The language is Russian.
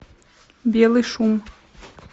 белый шум